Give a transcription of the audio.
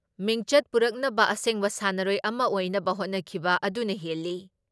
ꯃꯤꯡꯆꯠ ꯄꯨꯔꯛꯅꯕ ꯑꯁꯦꯡꯕ ꯁꯥꯟꯅꯔꯣꯏ ꯑꯃ ꯑꯣꯏꯅꯕ ꯍꯣꯠꯅꯈꯤꯕ ꯑꯗꯨꯅ ꯍꯦꯜꯂꯤ ꯫